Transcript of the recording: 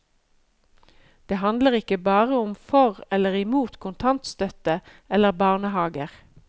Det handler ikke bare om for eller imot kontantstøtte eller barnehaver.